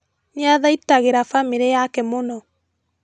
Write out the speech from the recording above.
Nĩathaitagira bamĩrĩ yake mũno